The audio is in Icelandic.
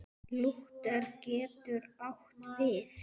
Lúther getur átt við